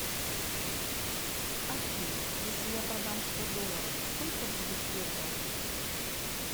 афина если я продам сто долларов сколько будет евро